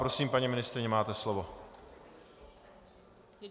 Prosím, paní ministryně, máte slovo.